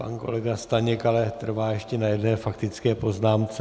Pan kolega Staněk ale trvá ještě na jedné faktické poznámce.